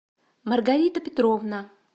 маргарита петровна